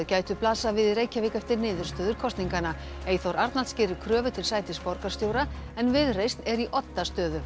gætu blasað við í Reykjavík eftir niðurstöður kosninganna Eyþór Arnalds gerir kröfu til sætis borgarstjóra en Viðreisn er í